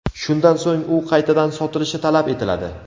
Shundan so‘ng u qaytadan sotilishi talab etiladi.